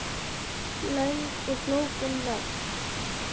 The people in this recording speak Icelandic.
Löng og flókin nöfn